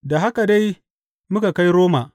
Da haka dai muka kai Roma.